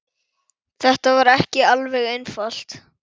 Þetta var ekki alveg einfalt